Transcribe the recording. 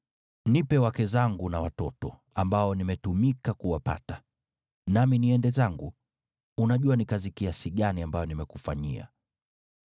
Nipe wake zangu na watoto, ambao nimetumika kuwapata, nami niende zangu. Unajua ni kazi kiasi gani ambayo nimekufanyia.”